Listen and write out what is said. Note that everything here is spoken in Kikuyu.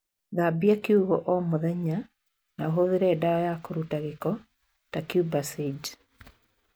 Thambi kiugũ ũmũthenya na ũhũthire dawa ya kũruta gĩko ta kubasaidi.